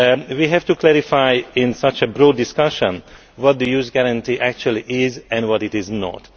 We have to clarify in such a broad discussion what the Youth Guarantee actually is and what it is not.